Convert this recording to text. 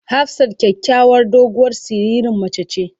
Hafsat kyakyawar doguwar siririn mace ce.